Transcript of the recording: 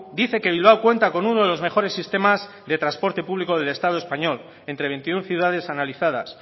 dice que bilbao cuenta con uno de los mejores sistemas de transporte público del estado español entre veintiuno ciudades analizadas